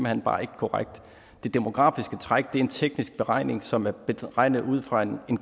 hen bare ikke korrekt det demografiske træk er en teknisk beregning som er beregnet ud fra en